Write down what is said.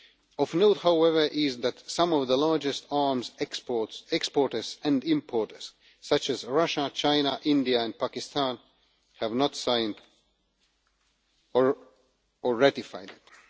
Of note, however, is that some of the largest arms exporters and importers, such as Russia, China, India and Pakistan, have not signed or ratified it.